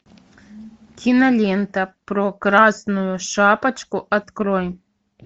кинолента про красную шапочку открой